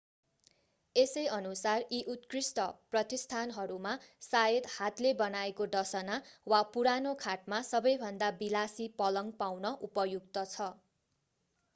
यसैअनुसार यी उत्कृष्ट प्रतिष्ठानहरूमा शायद हातले बनाएको डसना वा पुरानो खाटमा सबैभन्दा विलासी पलङ्ग पाउन उपयुक्त छ